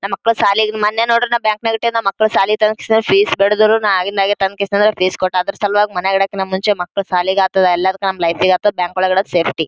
ನಮ್ಮ ಮಕ್ಕಳ್ ಶಾಲೆಗೆ ಮೊನ್ನೆ ನೋಡಿರೆ ಬ್ಯಾಂಕ್ ನಾಗ್ ಇಟ್ಟಿವಿ ನಮ್ಮ ಮಕ್ಕಳ್ ಶಾಲೆಗ್ ಇದ್ದಾಗ ಫೀಸ್ ಬೇಡದಿರು ನಾ ಆಗಿಂದ್ದಾಗ ತನ್ನ ಫೀಸ್ ಕೊಟ್ಟಾದ್ರು ಅದ್ರ ಸಲುವಾಗಿ ಮನೆಗ್ ಇ ಡಕಿನ ಮುಂಚೆ ಮಕ್ಕಳ್ ಶಾಲೆಗೆ ಆತು ಎಲ್ಲಾದಕ್ಕೂ ನಮ್ಮ ಲೈಫ್ ಈಗ್ ಆತು ಬ್ಯಾಂಕ್ ಒಳಗ್ ಇಡಕ್ ಸೇಫ್ಟಿ .